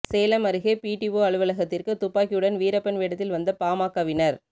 சேலம் அருகே பிடிஓ அலுவலகத்துக்கு துப்பாக்கியுடன் வீரப்பன் வேடத்தில் வந்த பாமகவினர்